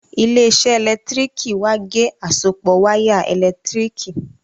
ile-iṣẹ elekitiriki wá ge àsopọ waya elekitiriki.